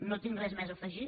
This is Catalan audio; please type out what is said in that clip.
no tinc res més a afegir